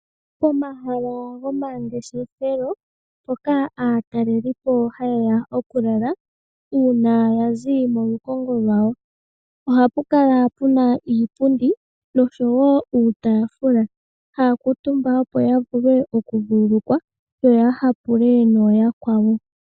Omahala gomangeshefelo, mpoka aatalelipo haye ya okulala, uuna ya zi molukongo lwawo. Oha pu kala pu na iipundi nosho wo uutaafula, haa kuutumba opo ya vule okuvululukwa yo ya hapule nooyakwawo.